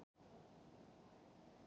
Og skáldið þornar í munninum.